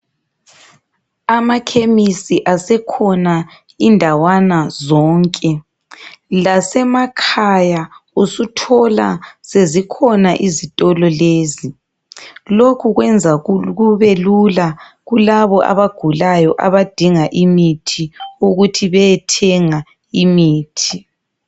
Amakhemisi asekhona indawana zonke. Lasemakhaya usuthola sezikhona izitolo lezi. Lokhu kwenza kube lula kulabo abagulayo abadinga imithi ukuthi beyethenga imithi.